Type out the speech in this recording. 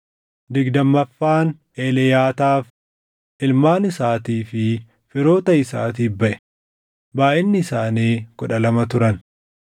digdammaffaan Eliyaataaf, // ilmaan isaatii fi firoota isaatiif baʼe; // baayʼinni isaanii kudha lama turan